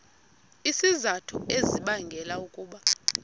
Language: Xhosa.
izizathu ezibangela ukuba